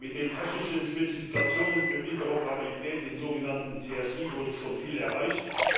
Mit den technischen Spezifikationen für Interoperabilität, den sogenannten TSI, wurde schon viel erreicht.